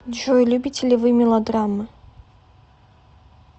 джой любите ли вы мелодрамы